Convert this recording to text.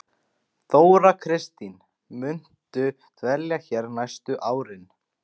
Þóra Kristín: Muntu dvelja hér næstu árin?